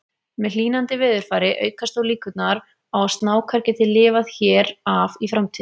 Með hlýnandi veðurfari aukast þó líkurnar á að snákar geti lifað hér af í framtíðinni.